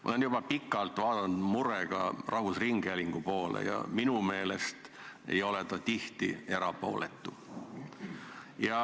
Ma olen juba pikalt vaadanud murega rahvusringhäälingu poole ja minu meelest ei ole ta tihti erapooletu.